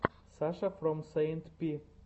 саша фром сэйнт пи